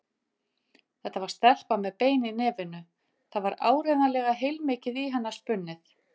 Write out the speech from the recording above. Þetta var stelpa með bein í nefinu, það var áreiðanlega heilmikið í hana spunnið.